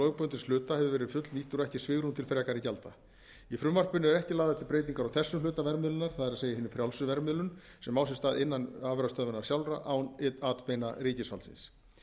lögbundins hluta hefur verið fullnýttur og ekki svigrúm til frekari gjalda í frumvarpinu eru ekki lagðar til breytingar á þessum hluta verðmiðlunar það er hinni frjálsu verðmiðlun sem á sér stað innan afurðastöðvanna sjálfra án atbeina ríkisvaldsins